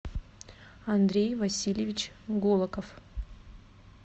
андрей васильевич голоков